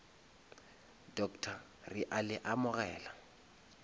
doctor re a le amogela